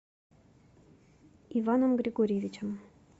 иваном григорьевичем